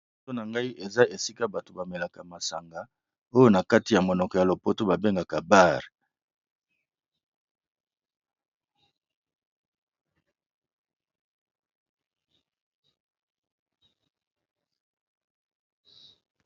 Liboso nangai eza esika bâti bamelaka masanga oyo na kati ya monoko ya lopoto ba bengaka bar.